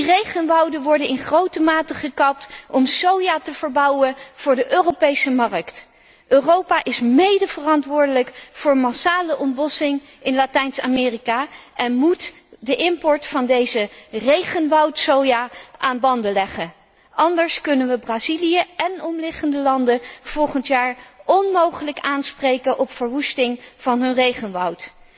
Die regenwouden worden in grote mate gekapt om soja te verbouwen voor de Europese markt. Europa is medeverantwoordelijk voor massale ontbossing in Latijns Amerika en moet de import van deze 'regenwoudsoja' aan banden leggen, anders kunnen we Brazilië en omliggende landen volgend jaar onmogelijk aanspreken op de verwoesting van hun regenwoud.